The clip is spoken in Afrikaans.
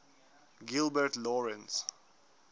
gilbert lawrence